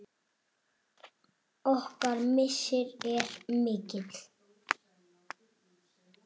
Okkar missir er mikill.